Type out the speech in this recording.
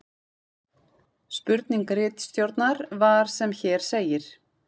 Spurning ritstjórnar var sem hér segir: